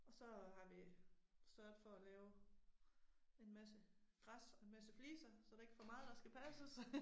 Og så har vi sørget for at lave en masse græs og en masse fliser så der ikke for meget der skal passes